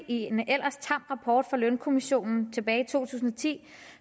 en ellers tam rapport fra lønkommissionen tilbage i to tusind og ti